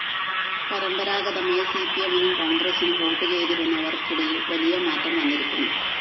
പരമ്പരാഗതമായി സിപിഎമ്മിനും കോണ്‍ഗ്രസ്സിനും വോട്ടുചെയ്തിരുന്നവര്‍ക്കിടയില്‍ വലിയ മാറ്റം വന്നിരിക്കുന്നു